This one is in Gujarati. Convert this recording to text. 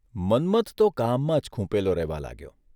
મન્મથન તો કામમાં જ ખૂંપેલો રહેવા લાગ્યો.